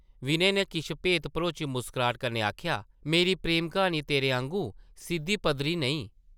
विनय नै किश भेत भरोची मुस्कराह्ट कन्नै आखेआ, मेरी प्रेम-क्हानी तेरे आंगू सिद्धी-पद्धरी नेईं ।